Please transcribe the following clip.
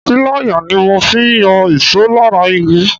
Pilaya ni mo fi yọ ìṣó lára igi.